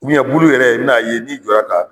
bulu yɛrɛ i bin'a ye n'i jɔ ka